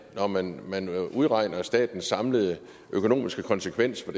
når man udregner statens samlede økonomiske konsekvenser